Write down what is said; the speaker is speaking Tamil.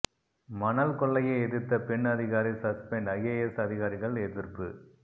மணல் கொள்ளையை எதிர்த்த பெண் அதிகாரி சஸ்பெண்ட் ஐஏஎஸ் அதிகாரிகள் எதிர்ப்பு